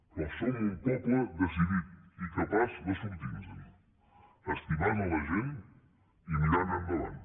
però som un poble decidit i capaç de sortir nosen estimant la gent i mirant endavant